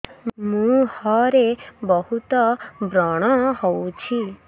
ମୁଁହରେ ବହୁତ ବ୍ରଣ ହଉଛି